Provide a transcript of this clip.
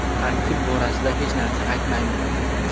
Tarkib borasida hech narsa aytmayman.